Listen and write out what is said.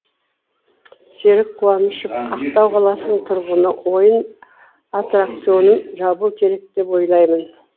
серік қуанышов ақтау қаласының тұрғыны ойын аттракционын жабу керек деп ойлаймын